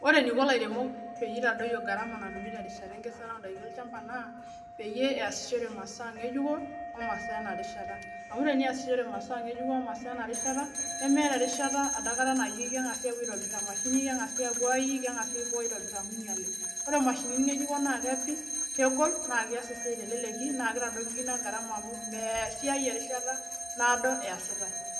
ore eniko ilairemook pee itadoyio garama natumi terishata enkesare naa tenitumia imasaa enarishata amuu ore imasaa enarishata naa kegoli nees sii esiai teleleki